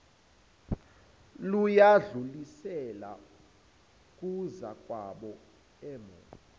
layidlulisela kuzakwabo omi